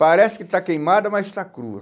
Parece que está queimada, mas está crua.